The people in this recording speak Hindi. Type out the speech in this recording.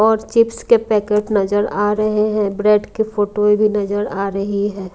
और चिप्स के पैकेट नजर आ रहे हैं ब्रेड के फोटोए भी नजर आ रही है।